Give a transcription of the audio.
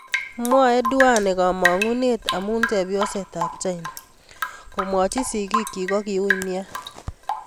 MwaenDuane komangune amu chepyoset ab China, komwochi sigik chik kokiui nea.